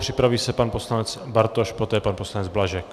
Připraví se pan poslanec Bartoš, poté pan poslanec Blažek.